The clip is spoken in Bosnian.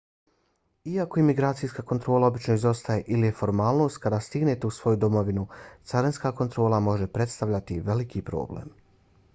iako imigracijska kontrola obično izostaje ili je formalnost kad stignete u svoju domovinu carinska kontrola može predstavljati veliki problem